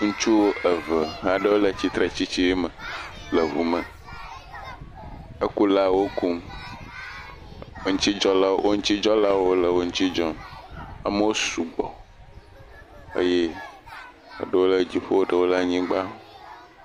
Ŋutsu eve aɖewo le tsitre tsitsi me le ŋu me, ekula wo kum etidzɔlawo wo ŋutidzɔlawo sugbɔ, eye ame aɖewo le anyigba.